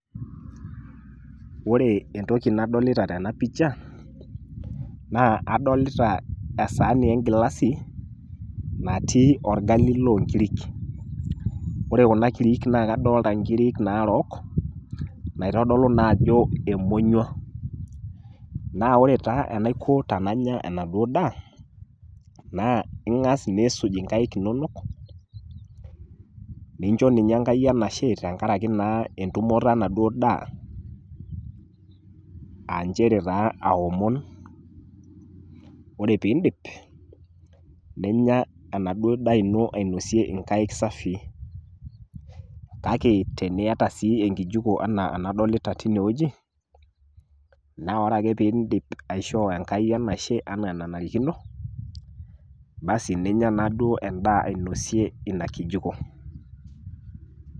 Ore entoki nadolita tena ]cs]picha naa adolita esaani engilasi natii orgali loonkirik. Ore kuna kirik naa kadolta nkirik naarook naitodolu naajo emonyua. Naa ore taa enaiko tenanya enaduo daa naa ing'as nisuj inkaik inonok, nincho ninye enkai enashe tengarake naa entumoto enaduo daa aanchere taa aomon, ore piindip ninya enaduo daa ino ainosie inkaik safii. Kake teniata sii enkijuko anaa enadolita teinewueji naa ore ake piindip aishoo enkai enashe anaa enanarikino basi ninya naaduo endaa ainosie ina kijiko.